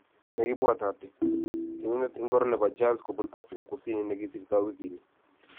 Ne kibwatati: Tienindet ingoro nebo Jazz kobun Afrika Kusini Nikisirto wikit ni?